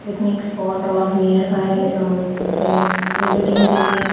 picnic spot or nearby horse visiting के लिए--